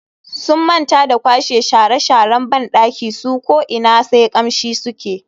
Sun manta da kwashe shara sharan bandakin su ko ina sai kamshi suke.